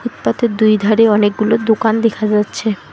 তাতে দুই ধারে অনেকগুলো দোকান দেখা যাচ্ছে।